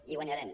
i guanyarem